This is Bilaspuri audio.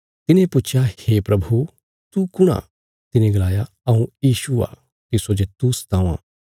तिने पुच्छया हे प्रभु तू कुण आ तिने गलाया हऊँ यीशु आ तिस्सो जे तू सतावां